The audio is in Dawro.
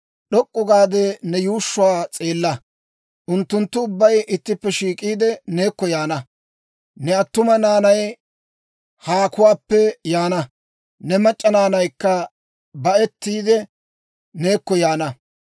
«D'ok'k'u gaade ne yuushshuwaa s'eella. Unttunttu ubbay ittippe shiik'iide, neekko yaana. Ne attuma naanay haakuwaappe yaana; ne mac'c'a naanaykka ba'ettiide, neekko yaana.